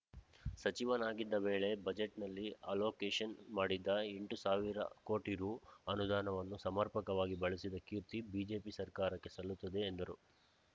ಸಚಿವನಾಗಿದ್ದ ವೇಳೆ ಬಜೆಟ್‌ನಲ್ಲಿ ಅಲೋಕೇಷನ್‌ ಮಾಡಿದ್ದ ಎಂಟು ಸಾವಿರ ಕೋಟಿ ರುಅನುದಾನವನ್ನು ಸಮರ್ಪಕವಾಗಿ ಬಳಸಿದ ಕೀರ್ತಿ ಬಿಜೆಪಿ ಸರ್ಕಾರಕ್ಕೆ ಸಲ್ಲುತ್ತದೆ ಎಂದರು